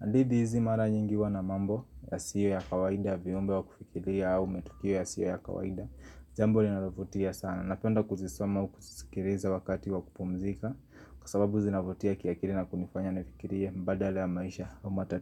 hadithi hizi mara nyingi huwa na mambo yasiyo ya kawaida, viumbe wa kufikiria au matukio yasiyo ya kawaida jambo linalovutia sana, napenda kuzisoma au kuzisikiriza wakati wa kupumzika Kwa sababu zinavutia kiakili na kunifanya nifikirie mbadala ya maisha au matati.